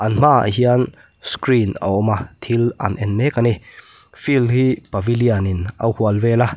hmaah hian screen a awm a thil an en mek a ni field hi pavilion in a hual vel a.